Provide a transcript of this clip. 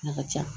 A ka ca